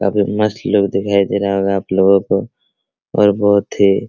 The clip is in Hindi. काफी मस्त लुक दिखाई दे रहा है होगा आप लोगों को और बहुत ही --